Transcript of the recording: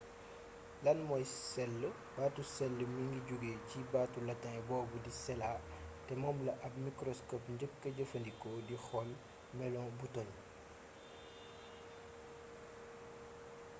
lan mooy cell baatu cell mi ngi jóge ci baatu latin boobu di cella te moom la ab mikroskop njëkka jëfandikoo di xool melo butoñ